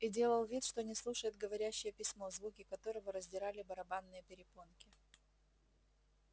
и делал вид что не слушает говорящее письмо звуки которого раздирали барабанные перепонки